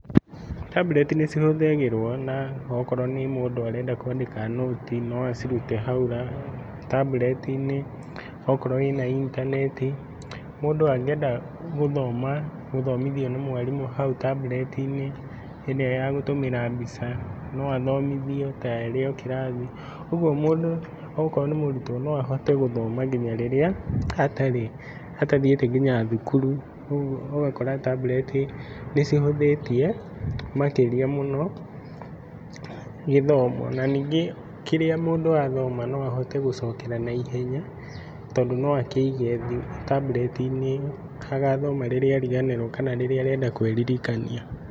Tablet nĩcihũthagĩrwo na okorwo nĩ mũndũ arenda kwandĩka nũti, noacirute hau Tablet-inĩ okorwo ĩna intanenti. Mũndũ angĩenda gũthoma, gũthomithio nĩ mwarimũ hau Tablet-inĩ ĩrĩa ya gũtũmĩra mbica noathomithio ta arĩokĩrathi. ũguo mũndũ okorwo nĩ mũrutwo noahote gũthoma nginya rĩrĩa atarĩ, atathiĩte nginya thukuru. ũguo ũgakora Tablet nĩcihũthĩtie makĩria mũno gĩthomo. Nanyingĩ kĩrĩa mũndũ athoma noahote gũcokera na ihenya tondũ noakĩige Tablet-inĩ agathoma rĩrĩa ariganĩrwo kana rĩrĩa arenda kwĩririkania.